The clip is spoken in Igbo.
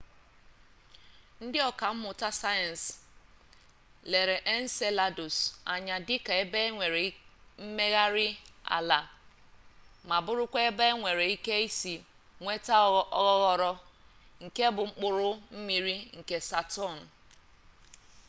ndị ọkammụta sayensị lere enceladus anya dịka ebe e nwere mmegharị ala ma bụrụkwa ebe enwere ike isi nweta oghoghoro e nke bụ mkpụrụ mmiri nke saturn